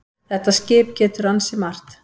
Þetta skip getur ansi margt.